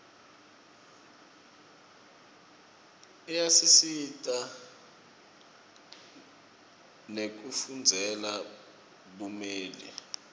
iyasisita nekufundzela bumeli